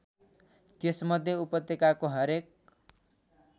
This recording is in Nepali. त्यसमध्ये उपत्यकाको हरेक